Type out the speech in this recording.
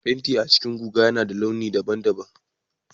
Fenti a cikin guga yana da launi daban-daban